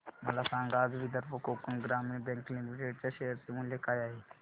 मला सांगा आज विदर्भ कोकण ग्रामीण बँक लिमिटेड च्या शेअर चे मूल्य काय आहे